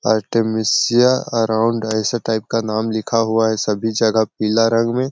artemisia around ऐसे type का नाम लिखा हुआ है सभी जगह पीला रंग में--